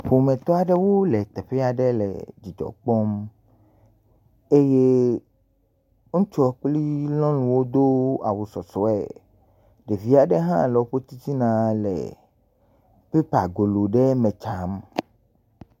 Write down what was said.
Ƒometɔ aɖewo le teƒe aɖe le dzidzɔ kpɔm. Eye ŋutsuɔ kple lɔnu wodo awu sɔsɔe. Ɖevi aɖe hã le woƒe titinaa le pépagolo ɖe me tsam